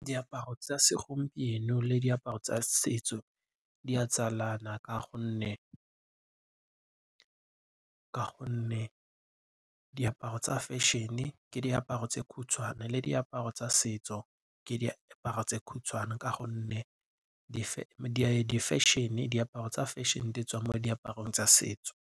Diaparo tsa segompieno le diaparo tsa setso di a tsalana ka gonne diaparo tsa fešene ke diaparo tse khutshwane le diaparo tsa setso ke diaparo tse khutshwane ka gonne diaparo tsa difešene ditswa mo diaparong tsa setso.